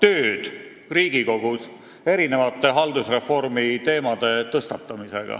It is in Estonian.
Me oleme Riigikogus tõstatanud erinevaid haldusreformi teemasid.